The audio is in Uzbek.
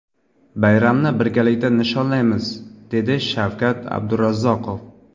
Bayramni birgalikda nishonlaymiz, dedi Shavkat Abdurazzoqov.